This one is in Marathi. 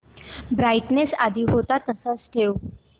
ब्राईटनेस आधी होता तसाच ठेव